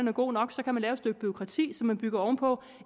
er god nok så kan man lave et stykke bureaukrati som man bygger oven på